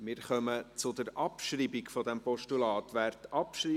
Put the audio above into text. Wir kommen zur Abschreibung des Postulats.